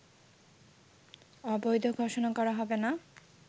অবৈধ ঘোষণা করা হবে না